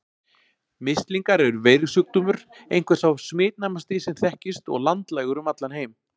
Mislingar eru veirusjúkdómur, einhver sá smitnæmasti sem þekkist og landlægur um allan heim.